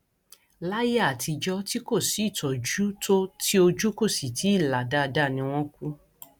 láyé àtijọ tí kò sí ìtọjú tó ti ojú kò sì tì í là dáadáa ni wọn ń kú